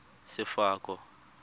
sefako